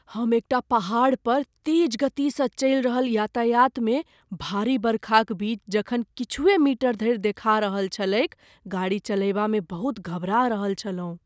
हम एकटा पहाड़ पर तेज गति सँ चलि रहल यातायातमे, भारी बरखाक बीच जखन किछुए मीटर धरि देखा रहल छलैक, गाड़ी चलयबामे बहुत घबरा रहल छलहुँ।